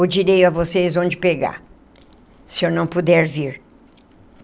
Ou direi a vocês onde pegar... se eu não puder vir.